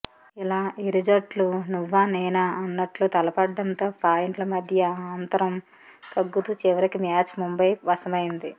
ఇలా ఇరు జట్లు నువ్వానేనా అన్నట్లు తలపడటంతో పాయింట్ల మధ్య అంతరం తగ్గుతూ చివరికి మ్యాచ్ ముంబై వశమైంది